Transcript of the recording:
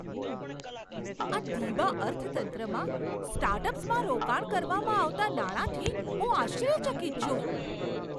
આ ધીમા અર્થતંત્રમાં સ્ટાર્ટઅપ્સમાં રોકાણ કરવામાં આવતા નાણાંથી હું આશ્ચર્યચકિત છું.